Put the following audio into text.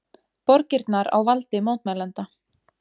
Borgirnar á valdi mótmælenda